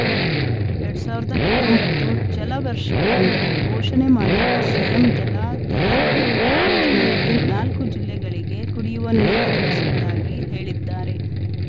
ಎರಡ್ ಸಾವಿರದ ಹತ್ತೊಂಬತ್ತು ಜಲವರ್ಷವೆಂದು ಘೋಷಣೆ ಮಾಡಿರುವ ಸಿಎಂ ಜಲಾಧಾರೆ ಯೋಜನೆಯಡಿ ನಾಲ್ಕು ಜಿಲ್ಲೆಗಳಿಗೆ ಕುಡಿಯುವ ನೀರೊದಗಿಸುವುದಾಗಿ ಹೇಳಿದ್ದಾರೆ